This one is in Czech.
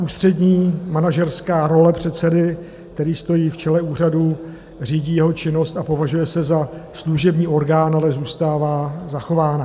Ústřední manažerská role předsedy, který stojí v čele úřadu, řídí jeho činnost a považuje se za služební orgán, ale zůstává zachována.